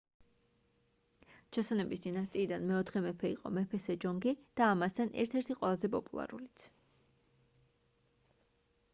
ჩოსონების დინასტიიდან მეოთხე მეფე იყო მეფე სეჯონგი და ამასთან ერთ-ერთი ყველაზე პოპულარულიც